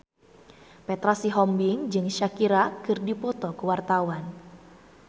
Petra Sihombing jeung Shakira keur dipoto ku wartawan